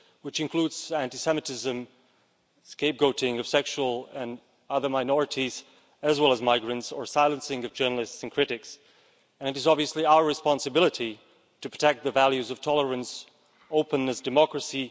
This includes anti Semitism and the scapegoating of sexual and other minorities as well as migrants, and the silencing of journalists and critics. It is obviously our responsibility to protect the values of tolerance, openness and democracy.